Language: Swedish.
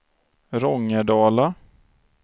Rångedala